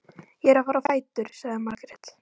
Ég er að fara á fætur, sagði Margrét.